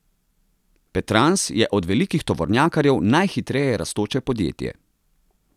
Petrans je od velikih tovornjakarjev najhitreje rastoče podjetje.